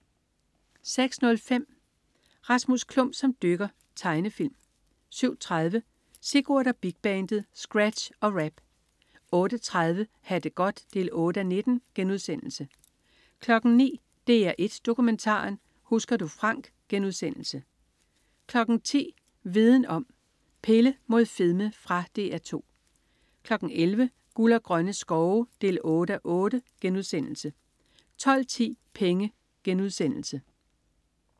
06.05 Rasmus Klump som dykker. Tegnefilm 07.30 Sigurd og Big Bandet. Scratch og rap! 08.30 Ha' det godt 8:19* 09.00 DR1 Dokumentaren. Husker du Frank* 10.00 Viden Om: Pille imod fedme. Fra DR 2 11.00 Guld og grønne skove 8:8* 12.10 Penge*